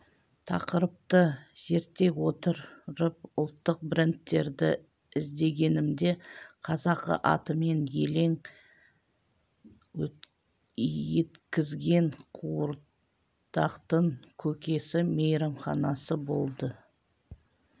тақырыпты зерттей отырып ұлттық брендтерді іздегенімде қазақы атымен елең еткізген қуырдақтың көкесі мейрамханасы болды